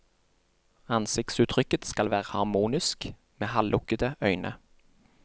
Ansiktsuttrykket skal være harmonisk, med halvlukkede øyne.